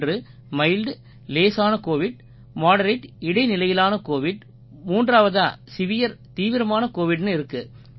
ஒன்று மைல்ட் லேசான covid moderate இடைநிலையிலான கோவிட் மூன்றாவதா செவர் தீவிரமான கோவிட்னு இருக்கு